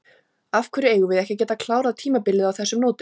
Af hverju eigum við ekki að geta klárað tímabilið á þessum nótum?